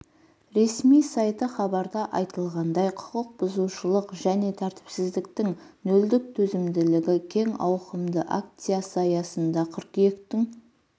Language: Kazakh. ресми сайты хабарда айтылғандай құқық бұзушылық және тәртіпсіздіктің нөлдік төзімділігі кең ауқымды акциясы аясында қыркүйектің